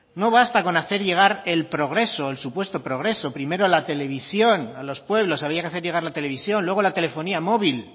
no basta con hacer llegar el progreso el supuesto progreso primero a la televisión a los pueblos había que hacer llegar la televisión luego la telefonía móvil